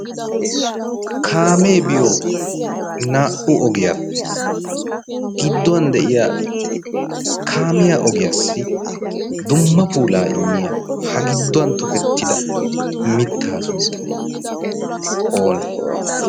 kaamee biyo naa'u ogiyaappe gidduwan de'iya kaamiya ogiyaassi dumma puulaa immiya ha gidduwan tokettida mittaa sunttay oonee?